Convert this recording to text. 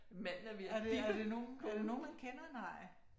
Manden er ved at dippe konen